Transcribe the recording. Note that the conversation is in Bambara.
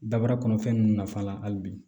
Dabara kɔnɔ fɛn ninnu nafa la hali bi